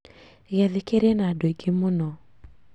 Giathĩ kĩrĩ na andũ aingĩ mũno